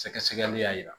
Sɛgɛsɛgɛli y'a yira